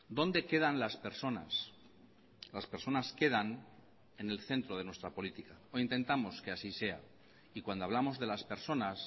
dónde quedan las personas las personas quedan en el centro de nuestra política o intentamos que así sea y cuando hablamos de las personas